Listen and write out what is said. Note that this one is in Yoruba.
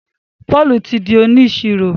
Paul tí dì oniṣiro